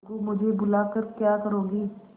अलगूमुझे बुला कर क्या करोगी